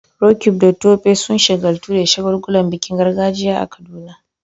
Roqeeb da Tope sun shagaltu da shagulgulan bikin gargajiya a Kaduna.